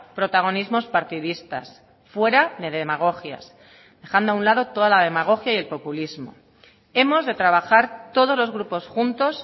protagonismos partidistas fuera de demagogias dejando a un lado toda la demagogia y el populismo hemos de trabajar todos los grupos juntos